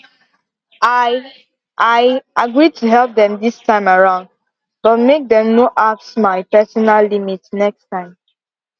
i i agree to help dem dis time around but make dem no apss my personal limit next time